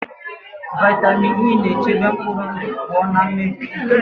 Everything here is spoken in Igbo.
Vitamin E na-echebe mkpụrụ ndụ pụọ na mmebi.